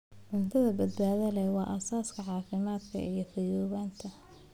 Cunto badbaado leh waa aasaaska caafimaadka iyo fayoobaanta.